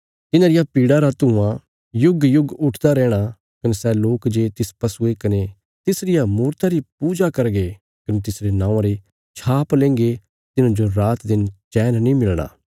तिन्हां रिया पीड़ा रा धुआं युगयुग उठदा रैहणा कने सै लोक जे तिस पशुये कने तिसरिया मूरता री पूजा करगे कने तिसरे नौआं री छाप लेंगे तिन्हांजो रातदिन चैन नीं मिलणा